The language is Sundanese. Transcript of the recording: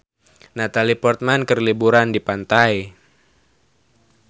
Natalie Portman keur liburan di pantai